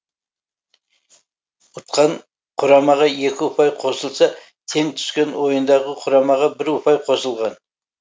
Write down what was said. ұтқан құрамаға екі ұпай қосылса тең түскен ойындағы құрамаға бір ұпай қосылған